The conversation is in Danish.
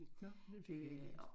Nåh den fik jeg ikke læst